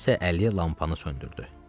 Kimsənin əli lampanı söndürdü.